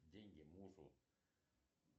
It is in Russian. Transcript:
деньги мужу